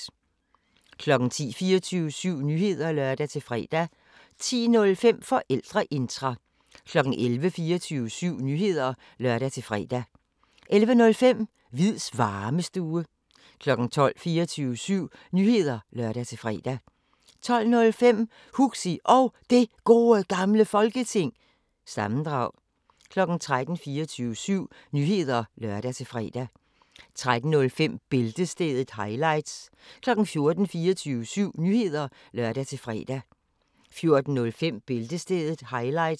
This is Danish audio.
10:00: 24syv Nyheder (lør-fre) 10:05: Forældreintra 11:00: 24syv Nyheder (lør-fre) 11:05: Hviids Varmestue 12:00: 24syv Nyheder (lør-fre) 12:05: Huxi Og Det Gode Gamle Folketing- sammendrag 13:00: 24syv Nyheder (lør-fre) 13:05: Bæltestedet – highlights 14:00: 24syv Nyheder (lør-fre) 14:05: Bæltestedet – highlights